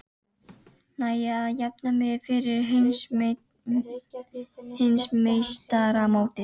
Næ ég að jafna mig fyrir heimsmeistaramótið?